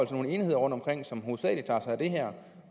få nogle enheder rundtomkring som hovedsagelig tager sig af det her